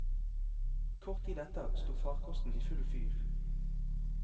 Kort tid etter sto farkosten i full fyr.